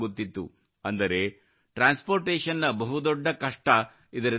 ಅಂದರೆ transportation ನ ಬಹುದೊಡ್ಡ ಕಷ್ಟ ಇದರಿಂದ ದೂರವಾಯಿತು